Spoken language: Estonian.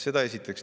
Seda esiteks.